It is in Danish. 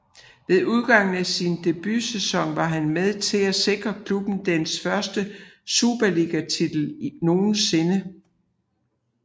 Ved udgangen af sin debutsæson var han med til at sikre klubben dens første Superligatitel nogensinde